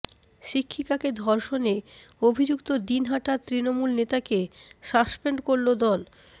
শিক্ষিকাকে ধর্ষণে অভিযুক্ত দিনহাটার তৃণমূল নেতাকে সাসপেন্ড করল দল